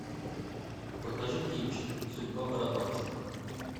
покажи кинчик судьба барабанщика